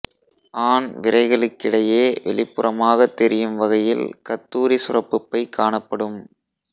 ஆண் விரைகளுக்கிடையே வெளிப்புறமாகத் தெரியும் வகையில் கத்தூரி சுரப்பு பை காணப்படும்